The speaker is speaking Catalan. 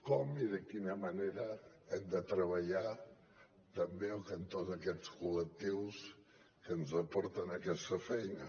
com i de quina manera de treballar també al cantó d’aquests col·lectius que ens aporten aquesta feina